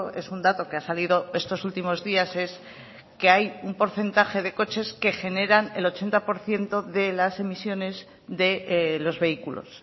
es un dato que ha salido estos últimos días es que hay un porcentaje de coches que generan el ochenta por ciento de las emisiones de los vehículos